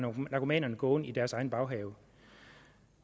narkomanerne gående i deres egen baghave